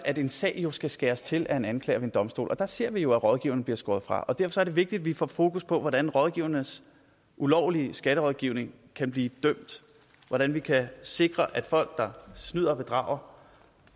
at en sag skal skæres til af en anklager ved en domstol og der ser vi jo at rådgiveren bliver skåret fra derfor er det vigtigt at vi får fokus på hvordan rådgivernes ulovlige skatterådgivning kan blive dømt hvordan vi kan sikre at folk der snyder og bedrager